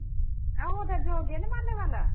ਆਹੋ ਜੋ ਗੇਨੇ ਮਾਰਨੇ ਆਲਾ